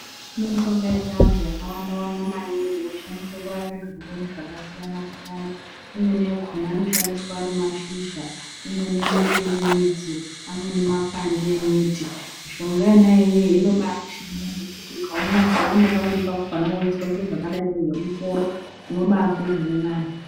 Kune mishonga yechivantu yakawanda wanda maningi inoshandiswe kurapa zvirwere zvakasiyana siyana . Imweni yakona anoshandiswa ari mashizha imwe inenge iri midzi amweni makwande emiti. Mishonga iyoyo inombaishande zvekuti ukaone pamwe pakona weyizwa zvakadai kunge musoro unobayizwe zviri nani.